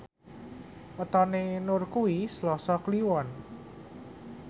wetone Nur kuwi Selasa Kliwon